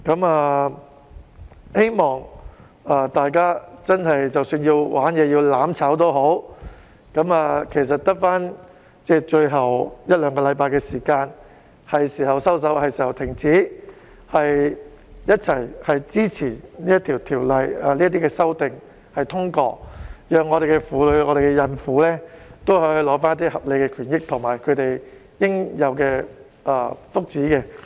我希望大家即使真的要"玩嘢"或"攬炒"，其實只餘下最後一兩星期，現在是時候收手、停止，一起支持《條例草案》的修訂及通過，讓婦女和孕婦可以取得合理的權益及應有的福利。